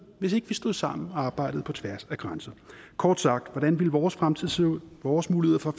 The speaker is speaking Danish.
hvis ikke vi stod sammen og arbejdede på tværs af grænser kort sagt hvordan ville vores fremtid se ud vores muligheder for